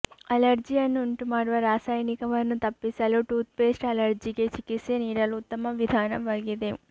ಅಲರ್ಜಿಯನ್ನು ಉಂಟುಮಾಡುವ ರಾಸಾಯನಿಕವನ್ನು ತಪ್ಪಿಸಲು ಟೂತ್ಪೇಸ್ಟ್ ಅಲರ್ಜಿಗೆ ಚಿಕಿತ್ಸೆ ನೀಡಲು ಉತ್ತಮ ವಿಧಾನವಾಗಿದೆ